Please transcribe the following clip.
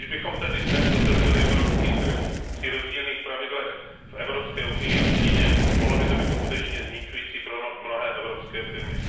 Když bychom tedy dnes otevřeli evropský trh při rozdílných pravidlech v Evropské unii a v Číně, mohlo by to být skutečně zničující pro mnohé evropské firmy.